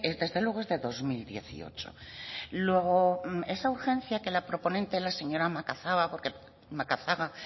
desde luego es de dos mil dieciocho luego esa urgencia que la proponente la señora macazaga